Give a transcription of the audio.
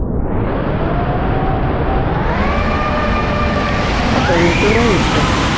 সে রকমই ইচ্ছা